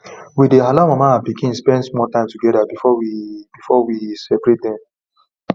we dey allow mama and pikin spend small time together before we before we separate dem